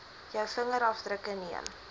jou vingerafdrukke neem